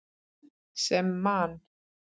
Sem Man.